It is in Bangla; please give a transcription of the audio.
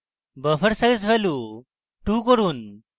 buffer size value 2 করুন